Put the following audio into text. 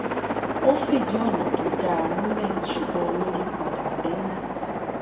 ó fìdí ònà tó dáa múlẹ ṣùgbọn olórí padà sẹyìn